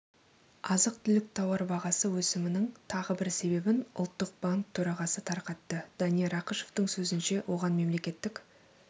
азық-түлік тауар бағасы өсімінің тағы бір себебін ұлттық банк төрағасы тарқатты данияр ақышевтің сөзінше оған мемлекеттік